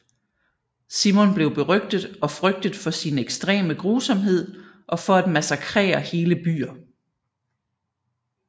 Simon blev berygtet og frygtet for sin ekstreme grusomhed og for at massakrere hele byer